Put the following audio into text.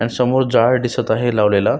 आणि समोर झाड दिसत आहे लावलेल.